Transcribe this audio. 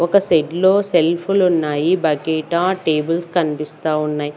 ఒక షెడ్ లో సెల్ఫలు ఉన్నాయి బకేట టేబుల్స్ కనిపిస్తా ఉన్నాయి.